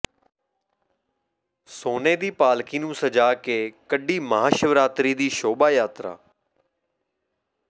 ਸੋਨੇ ਦੀ ਪਾਲਕੀ ਨੂੰ ਸਜਾ ਕੇ ਕੱਢੀ ਮਹਾਸ਼ਿਵਰਾਤਰੀ ਦੀ ਸ਼ੋਭਾ ਯਾਤਰਾ